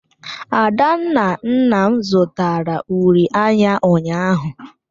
Adanna nna m zụtara uri anya ụnyaahụ.